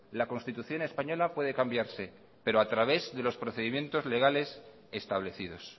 la constitución española puede cambiarse pero